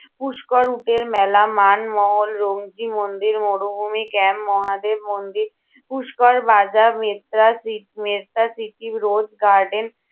পুষ্কর উটের মেলা, মান, মহল, মন্দির, মরুভূমি camp, মহাদেব মন্দির, পুষ্কর বাজার, মেত্রা সি~ মেত্রা city road, garden